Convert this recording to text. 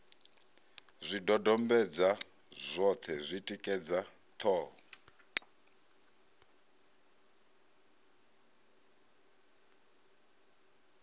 zwidodombedzwa zwoṱhe zwi tikedza ṱhoho